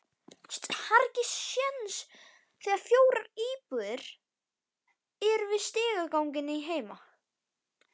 Það voru fjórar íbúðir í stigaganginum heima.